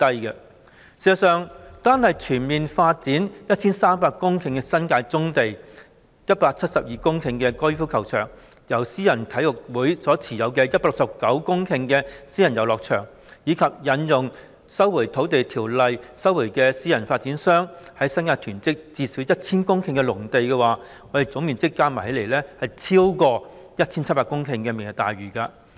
事實上，單是全面發展 1,300 公頃的新界棕地、172公頃的高爾夫球場、由私人體育會持有的169公頃私人遊樂場，以及引用《收回土地條例》收回私人發展商在新界囤積的最少 1,000 公頃農地，總面積加起來已遠超推行"明日大嶼願景"可獲得的 1,700 公頃。